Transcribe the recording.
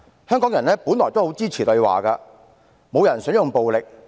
香港人本來也很支持對話，沒有人想用暴力。